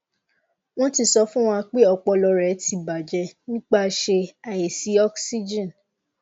won ti so fun wa pe opolo re ti baje nipapse aisi oxygen